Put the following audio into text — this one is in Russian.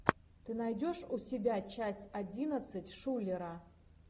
ты найдешь у себя часть одиннадцать шулера